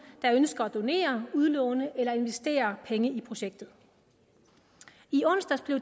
der ønsker at donere udlåne eller investere penge i projektet i onsdags blev